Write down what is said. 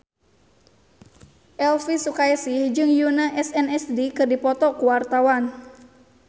Elvi Sukaesih jeung Yoona SNSD keur dipoto ku wartawan